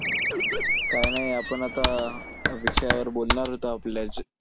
काय नाही आपण आता विषयावर बोलणार होतो आपल्या